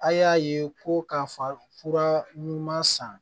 A y'a ye ko k'a fɔ fura ɲuman san